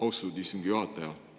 Austatud istungi juhataja!